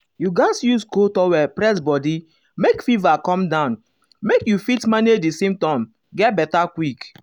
you gatz use cold um towel press body make fever come down make um you fit manage di symptoms get beta quick.